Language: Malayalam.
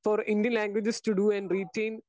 speaker 2 for Indian languages this to to and retain